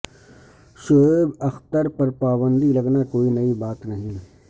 شعیب اختر پر پابندی لگنا کوئی نئی بات نہیں